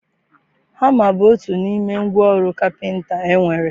Hama bụ otu n'ime ngwa ọrụ kapịnta e nwere.